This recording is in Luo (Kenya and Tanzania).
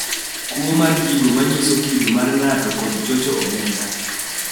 kuo mar gigo manyiso kido mar ng’ato kod chocho omenda”